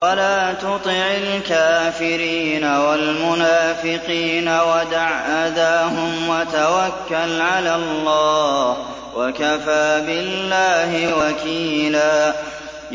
وَلَا تُطِعِ الْكَافِرِينَ وَالْمُنَافِقِينَ وَدَعْ أَذَاهُمْ وَتَوَكَّلْ عَلَى اللَّهِ ۚ وَكَفَىٰ بِاللَّهِ وَكِيلًا